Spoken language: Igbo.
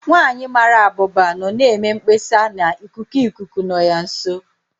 Nwanyị mara abụba nọ na-eme mkpesa na ikuku ikuku nọ ya nso.